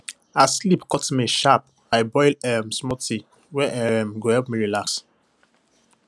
as sleep cut me sharp i boil um small tea wey um go help me relax well